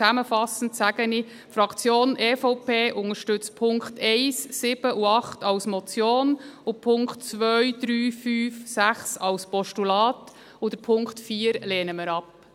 Zusammenfassend sage ich, die Fraktion EVP unterstützt die Punkte 1, 7 und 8 als Motionen, die Punkte 2, 3, 5 und 6 als Postulate und Punkt 4 lehnen wir ab.